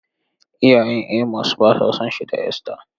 Iyayen Amos ba sa son shi da Esther.